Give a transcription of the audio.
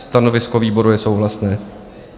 Stanovisko výboru je souhlasné.